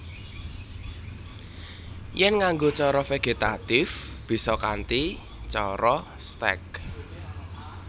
Yèn nganggo cara vegetatif bisa kanthi cara stèk